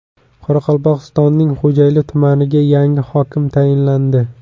Qoraqalpog‘istonning Xo‘jayli tumaniga yangi hokim tayinlandi.